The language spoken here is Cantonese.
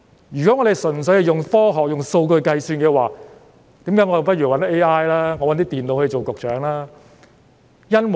如果我們純粹依賴科學及用數據計算的話，那我們不如找 AI、電腦擔任局長好了。